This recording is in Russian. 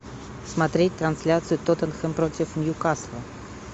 смотреть трансляцию тоттенхэм против ньюкасла